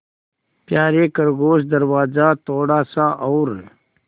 यारे खरगोश दरवाज़ा थोड़ा सा और